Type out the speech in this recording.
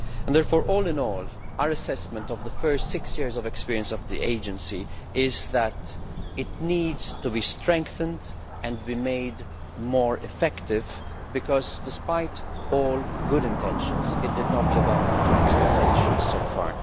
Therefore, all in all, our assessment of the first six years of experience of the Agency is that it needs to be strengthened and made more effective because, despite all good intentions, it has not lived up to expectations so far.